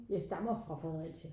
Jeg stammer fra Fredericia